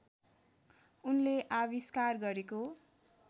उनले आविष्कार गरेको